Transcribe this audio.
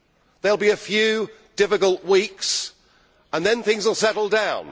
There will be a few difficult weeks and then things will settle down.